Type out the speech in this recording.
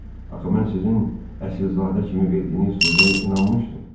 Axı mən sizin əsilzadə kimi verdiyiniz sözə inanmışdım.